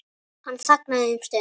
Hann þagnaði um stund.